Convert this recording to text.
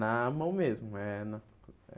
na mão mesmo é na.